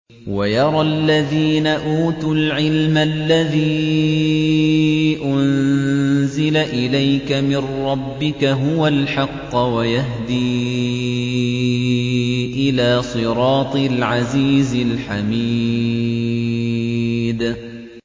وَيَرَى الَّذِينَ أُوتُوا الْعِلْمَ الَّذِي أُنزِلَ إِلَيْكَ مِن رَّبِّكَ هُوَ الْحَقَّ وَيَهْدِي إِلَىٰ صِرَاطِ الْعَزِيزِ الْحَمِيدِ